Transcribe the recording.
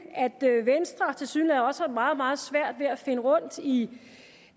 at venstre tilsyneladende også har meget meget svært ved at finde rundt i